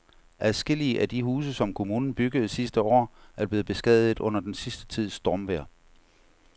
Adskillige af de huse, som kommunen byggede sidste år, er blevet beskadiget under den sidste tids stormvejr.